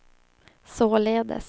således